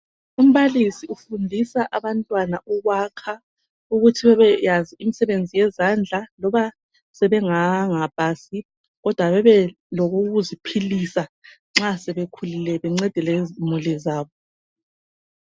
Umbalisi ufundisa abantwana ukwakha ukuthi bebeyazi umsebenzi wezandla loba sebenganga pasi kodwa bebelokokuziphilisa nxa sebekhulile bencede lezimuli zabo